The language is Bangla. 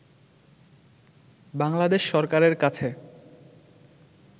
বাংলাদেশ সরকারের কাছে